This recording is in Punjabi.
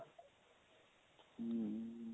ਹਮ